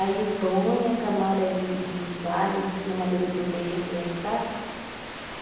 Aí põe a camada de de palha em cima do do beiju que já está.